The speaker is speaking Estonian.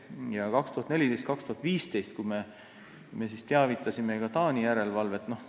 Ja 2014–2015 me teavitasime ka Taani järelevalvet.